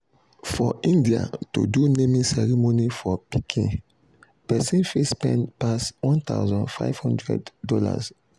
for india to do naming ceremony for pikin persin fit spend passone thousand five thousand dollars